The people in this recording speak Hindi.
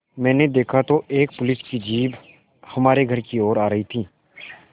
मैंने देखा तो एक पुलिस की जीप हमारे घर की ओर आ रही थी